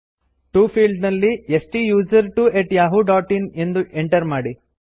to field ನಲ್ಲಿ ಸ್ಟುಸರ್ಟ್ವೊ at Yahoo dot in ಎಂದು ಎಂಟರ್ ಮಾಡಿ